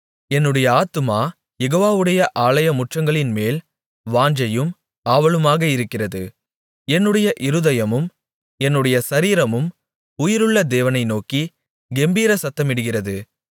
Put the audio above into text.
என்னுடைய ஆத்துமா யெகோவாவுடைய ஆலயமுற்றங்களின்மேல் வாஞ்சையும் ஆவலுமாக இருக்கிறது என்னுடைய இருதயமும் என்னுடைய சரீரமும் உயிருள்ள தேவனை நோக்கிக் கெம்பீர சத்தமிடுகிறது